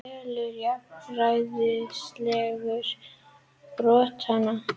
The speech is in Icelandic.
Telur jafnræðisreglu brotna